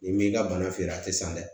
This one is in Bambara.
Ni m'i ka bana feeren a tɛ san dɛ